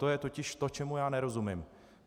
To je totiž to, čemu já nerozumím.